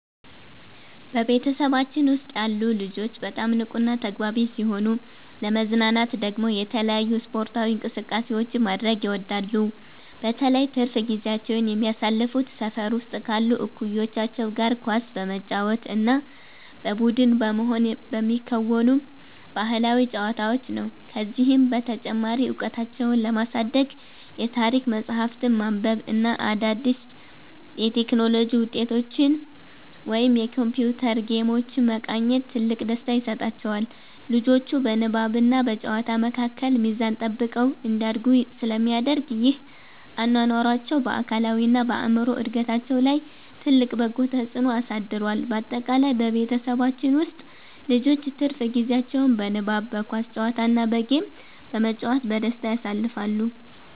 በቤተሰባችን ውስጥ ያሉ ልጆች በጣም ንቁና ተግባቢ ሲሆኑ፣ ለመዝናናት ደግሞ የተለያዩ ስፖርታዊ እንቅስቃሴዎችን ማድረግ ይወዳሉ። በተለይ ትርፍ ጊዜያቸውን የሚያሳልፉት ሰፈር ውስጥ ካሉ እኩዮቻቸው ጋር ኳስ በመጫወት እና በቡድን በመሆን በሚከወኑ ባህላዊ ጨዋታዎች ነው። ከዚህም በተጨማሪ እውቀታቸውን ለማሳደግ የታሪክ መጽሐፍትን ማንበብ እና አዳዲስ የቴክኖሎጂ ውጤቶችን ወይም የኮምፒውተር ጌሞችን መቃኘት ትልቅ ደስታ ይሰጣቸዋል። ልጆቹ በንባብና በጨዋታ መካከል ሚዛን ጠብቀው እንዲያድጉ ስለሚደረግ፣ ይህ አኗኗራቸው በአካላዊና በአእምሮ እድገታቸው ላይ ትልቅ በጎ ተጽዕኖ አሳድሯል። ባጠቃላይ በቤተሰባችን ውስጥ ልጆች ትርፍ ጊዜያቸውን በንባብ፣ በኳስ ጨዋታ እና በጌም በመጫወት በደስታ ያሳልፋሉ።